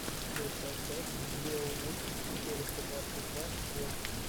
лучшая часть беовульф четыреста двадцать два вот